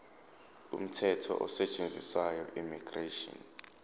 umthetho osetshenziswayo immigration